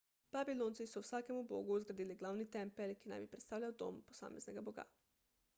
babilonci so vsakemu bogu zgradili glavni tempelj ki naj bi predstavljal dom posameznega boga